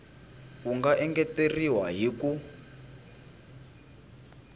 wu nga engeteriwa hi ku